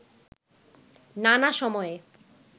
নানা সময়ে